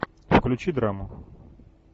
включи драму